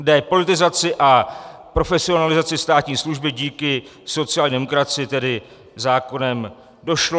K depolitizaci a profesionalizaci státní služby díky sociální demokracii tedy zákonem došlo.